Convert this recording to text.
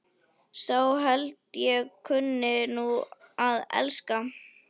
Sá held ég kunni nú að elska!